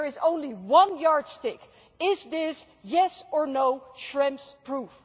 There is only one yardstick is this, yes or no, Schrems proof?